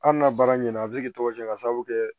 Hali n'a baara ɲɛna a bɛ se k'i tɔgɔ sɛbɛn k'a sababu kɛ